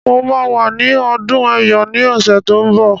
Mo máa wà ní ọdún Ẹ̀yọ̀ ní ọ̀sẹ̀ tó ń bọ̀.